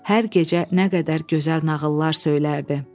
Hər gecə nə qədər gözəl nağıllar söylərdi.